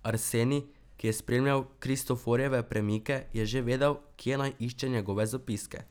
Arsenij, ki je spremljal Kristoforjeve premike, je že vedel, kje naj išče njegove zapiske.